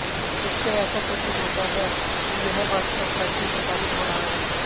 इससे ऐसा प्रतीत होता है कि यह व्हाट्सएप्प पर भी प्रसारित हो रहा है